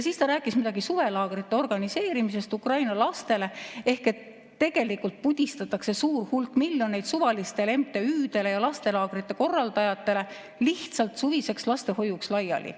Siis ta rääkis midagi suvelaagrite organiseerimisest Ukraina lastele, ehk tegelikult pudistatakse suur hulk miljoneid suvalistele MTÜ‑dele ja lastelaagrite korraldajatele lihtsalt suviseks lastehoiuks laiali.